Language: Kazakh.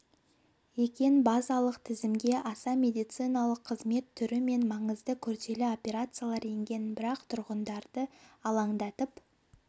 екен базалық тізімге аса медициналық қызмет түрі мен маңызды күрделі операциялар енген бірақ тұрғындарды алаңдатып